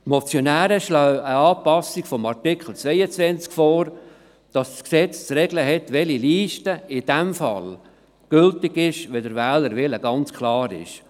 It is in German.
Die Motionäre schlagen eine Anpassung des Artikels 22 vor, wonach das Gesetz zu regeln hat, welche Liste gültig ist, wenn der Wählerwille ganz klar ist.